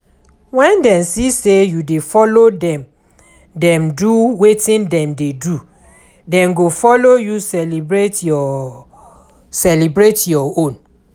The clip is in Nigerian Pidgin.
When dem see sey you dey follow dem do wetin dem dey do, dem go follow you celebrate your celebrate your own